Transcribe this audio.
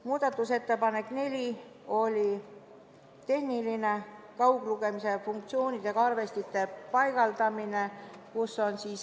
Muudatusettepanek nr 4 oli tehniline ja puudutas kauglugemise funktsiooniga arvestite paigaldamist.